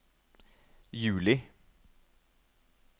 juli